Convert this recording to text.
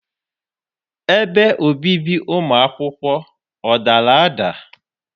Ebe obibi ụmụ akwụkwọ ọ dara ada?